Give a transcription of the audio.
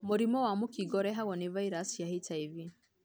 Mũrimũ wa mũkingo ũrehagwo nĩ virus cia HIV.